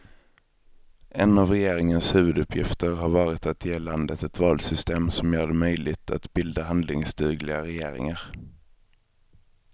En av regeringens huvuduppgifter har varit att ge landet ett valsystem som gör det möjligt att bilda handlingsdugliga regeringar.